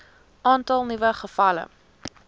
aantal nuwe gevalle